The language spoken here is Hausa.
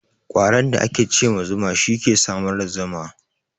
Ƙwaron da ake ce ma zuma, shi ke samar da zuma.